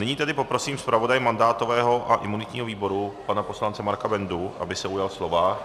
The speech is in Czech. Nyní tedy poprosím zpravodaje mandátového a imunitního výboru, pana poslance Marka Bendu, aby se ujal slova.